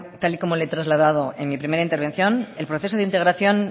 tal y como le he trasladado en mi primera intervención el proceso de integración